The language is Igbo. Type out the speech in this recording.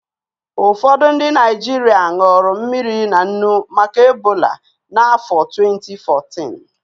Ụfọdụ ndị Naịjirịa ṅụrụ mmiri na nnu maka Ebola na afọ twenti fourtịn